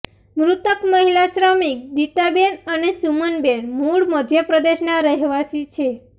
મૃતક મહિલા શ્રમિક દિતાબેન અને સુમનબેન મૂળ મધ્યપ્રદેશના રહેવાસી છે